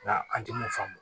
Nka an tɛ mun faamu